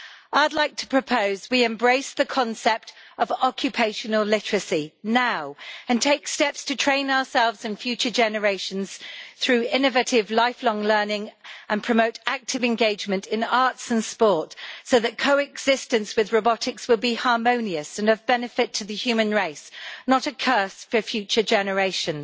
I would like to propose that we embrace the concept of occupational literacy now, and take steps to train ourselves and future generations through innovative life long learning, and promote active engagement in arts and sport, so that co existence with robotics will be harmonious and of benefit to the human race, not a curse for future generations.